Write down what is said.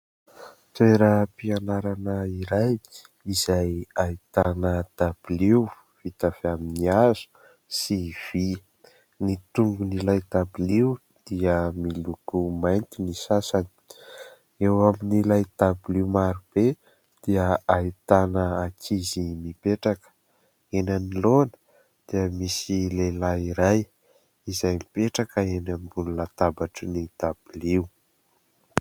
Toeram-pianarana iray izay ahitana dabilio vita avy amin'ny hazo sy vy. Ny tongony ilay dabilio dia miloko mainty ny sasany ; eo amin'ilay dabilio maro be dia ahitana ankizy mipetraka. Eny anoloana dia misy lehilahy iray izay mipetraka eny ambony latabatra ny dabilio.